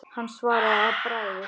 Hann svaraði að bragði.